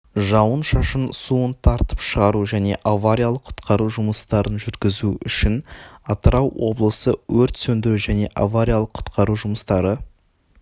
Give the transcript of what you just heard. жауын-шашын суын тартып шығару және авариялық-құтқару жұмыстарын жүргізу үшін атырау облысы өрт сөндіру және авариялық-құтқару жұмыстары